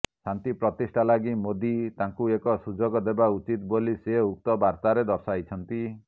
ଶାନ୍ତି ପ୍ରତିଷ୍ଠା ଲାଗି ମୋଦୀ ତାଙ୍କୁ ଏକ ସୁଯୋଗ ଦେବା ଉଚିତ ବୋଲି ସେ ଉକ୍ତ ବାର୍ତ୍ତାରେ ଦର୍ଶାଇଛନ୍ତି